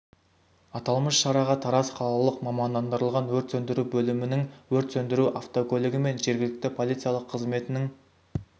аталмыш шараға тараз қалалық мамандандырылған өрт сөндіру бөлімінің өрт сөндіру автокөлігі мен жергілікті полициялық қызметінің